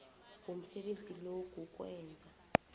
womsebenzi lo kukwenza